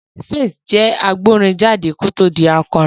Pheelz jẹ́ agbórin jáde kó tó di akọrin